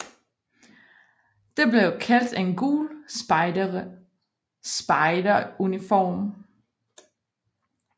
Det blev kaldt en gul spejderuniform